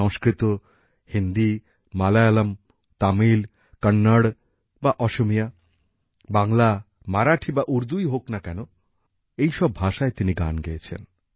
সংস্কৃত হিন্দি মালয়ালম তামিল কন্নড় বা অসমীয়া বাংলা মারাঠি বা উর্দুই হোক না কেন এই সব ভাষায় তিনি গান গেয়েছেন